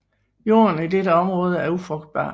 Jorden i dette område er ufrugtbar